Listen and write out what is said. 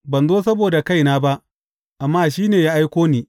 Ban zo saboda kaina ba, amma shi ne ya aiko ni.